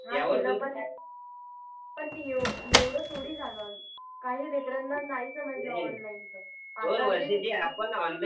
एवढं थोडी झालं काही काही लेकराना नाही जमायच ऑनलाइन च